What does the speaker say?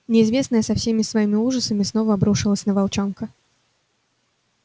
неизвестное со всеми своими ужасами снова обрушилось на волчонка